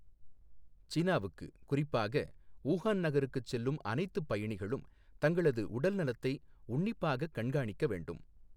சீனாவுக்கு, குறிப்பாக ஊஹான் நகருக்குச் செல்லும் அனைத்துப் பயணிகளும் தங்களது உடல்நலத்தை உன்னிப்பாகக் கண்காணிக்க வேண்டும்